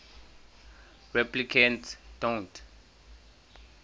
replicants don't